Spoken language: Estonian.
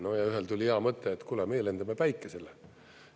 No ja ühel tuli hea mõte, et kuule, meie lendame Päikesele.